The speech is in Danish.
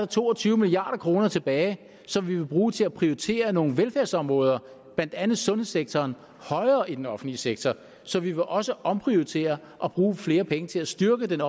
to og tyve milliard kroner tilbage som vi vil bruge til at prioritere nogle velfærdsområder blandt andet sundhedssektoren højere i den offentlige sektor så vi vil også omprioritere og bruge flere penge til at styrke den